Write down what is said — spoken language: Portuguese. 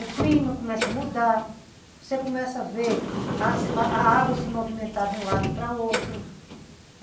o clima começa a mudar, você começa a ver a água se movimentar de um lado para o outro.